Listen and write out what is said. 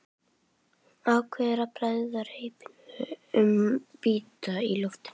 Ákveður að bregða reipinu um bita í loftinu.